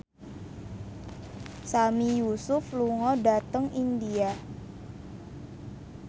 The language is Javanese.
Sami Yusuf lunga dhateng India